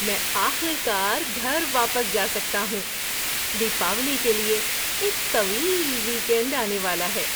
میں آخر کار گھر واپس جا سکتا ہوں۔ دیپاولی کے لیے ایک طویل ویک اینڈ آنے والا ہے۔